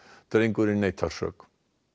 drengurinn neitar sök